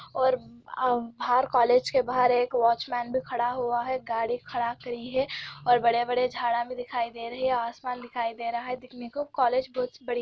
और बाहर कॉलेज के बाहर एक वॉचमैन भी खड़ा हुआ हैं गाड़ी खड़ा करी हैं और बड़े - बड़े झाड़ा भी दिखाई दे रहे हैं आसमान दिखाई दे रहा हैं देखने को कॉलेज बहुत बड़ी --